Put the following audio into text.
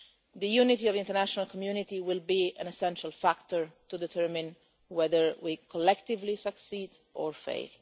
The unity of the international community will be an essential factor to determine whether we collectively succeed or